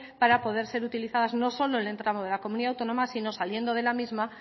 para poder utilizadas no solo en el tramo de la comunidad autónoma sino saliendo de la misma